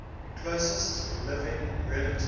closest living relatives